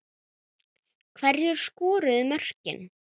Hverjir skoruðu mörkin?